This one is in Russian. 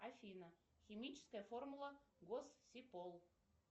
афина химическая формула госсипол